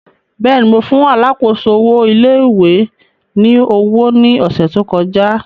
Bẹ́ẹ̀ni, Mo fun alákòóso owo ilé ìwé ni owo ni ọsẹ to kọja.